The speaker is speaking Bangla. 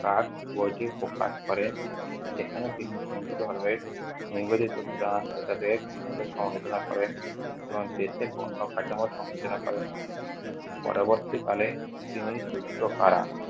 বইটি প্রকাশ করেন। সেখানে তিনি নিবেদিত প্রাণ নেতাদের সমালোচনা করেন এবং দেশের কাঠামো সংযোজনা করেন। পরবর্তীকালে তিনি রুদ্রকারা